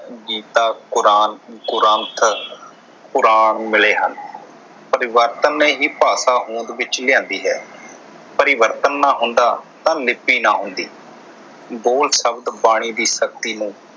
Gita, Quran Granth Quran ਮਿਲੇ ਹਨ। ਪਰਿਵਰਤਨ ਨੇ ਹੀ ਭਾਸ਼ਾ ਹੋਂਦ ਵਿਚ ਲਿਆਂਦੀ ਹੈ। ਪਰਿਵਰਤਨ ਨਾ ਹੁੰਦਾ ਤਾਂ ਲਿਪੀ ਨਾ ਹੁੰਦੀ। ਬੋਲ, ਸ਼ਬਦ, ਬਾਣੀ ਦੀ ਸ਼ਕਤੀ ਨੂੰ